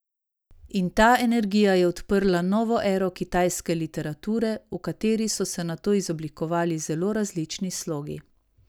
In ta energija je odprla novo ero kitajske literature, v kateri so se nato izoblikovali zelo različni slogi.